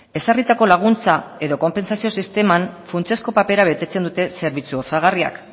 ezarritako laguntza edo konpentsazio sisteman funtsezko papera betetzen dute zerbitzu osagarriak